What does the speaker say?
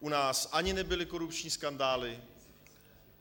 U nás ani nebyly korupční skandály.